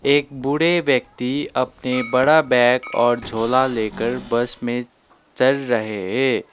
एक बूढ़े व्यक्ति अपने बड़ा बैग और झोला लेकर बस में चढ़ रहे है।